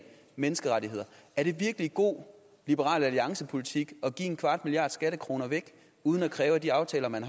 menneskerettigheder er det virkelig god liberal alliance politik at give en kvart milliard skattekroner væk uden at kræve at de aftaler man